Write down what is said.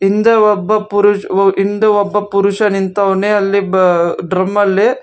ಹಿಂದೆ ಒಬ್ಬ ಪುರು ವಾ ಹಿಂದೆ ಒಬ್ಬ ಪುರುಷ ನಿಂವ್ನೆ ಅಲ್ಲಿ ಡ್ರಮ್ಮಲ್ಲಿ--